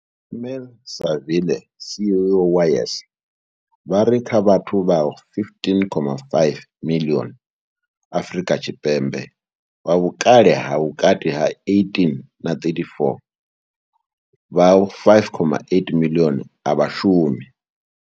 Ismail-Saville CEO wa YES, vha ri kha vhathu vha 15.5 miḽioni Afrika Tshipembe vha vhukale ha vhukati ha 18 na 34, vha 5.8 miḽioni a vha shumi.